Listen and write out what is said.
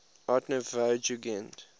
art nouveau jugend